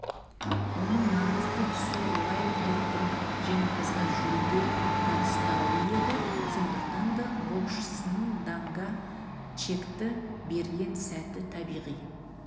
оның маңызды тұсы уайлдердің жеңімпазға жүлде табыстауы еді сондықтан да боксшының данға чекті берген сәті табиғи